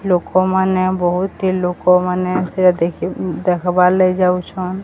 ଲୋକମାନେ ବହୁତି ଲୁକ ମାନେ ସେଟା ଦେଖି ଉଁ ଦେଖବାର୍ ଲାଗି ଯାଉଛନ୍।